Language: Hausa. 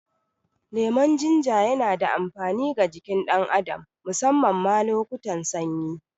Lemon Jinja yana da amfani ga jikin ɗan adam, musamman ma lokutan sanyi.